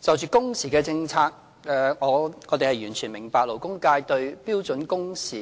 就着工時政策，我們完全明白勞工界對標準工時